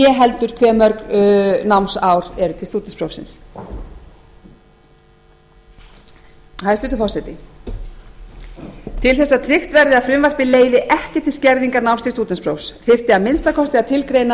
né heldur hve mörg námsár eru til stúdentsprófsins hæstvirtur forseti til þess að tryggt verði að frumvarpið leiði ekki til skerðingar náms til stúdentsprófs þyrfti að finna kosti að tilgreina